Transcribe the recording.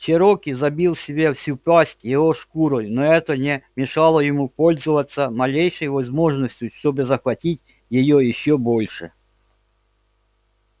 чероки забил себе всю пасть его шкурой но это не мешало ему пользоваться малейшей возможностью чтобы захватить её ещё больше